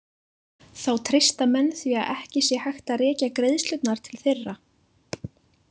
Þá treysta menn því að ekki sé hægt að rekja greiðslurnar til þeirra.